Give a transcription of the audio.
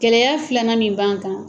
Gɛlɛya filanan min b'an kan